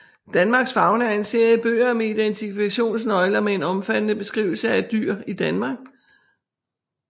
Danmarks Fauna er en serie bøger med identifikationsnøgler med en omfattende beskrivelse af dyr i Danmark